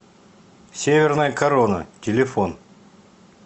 северная корона телефон